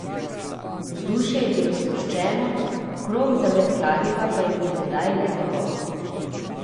Vzdušje je bilo sproščeno, krog za met kladiva pa je bil tedaj le njegov.